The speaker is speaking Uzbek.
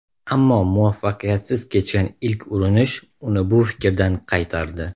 Ammo muvaffaqiyatsiz kechgan ilk urinish uni bu fikridan qaytardi.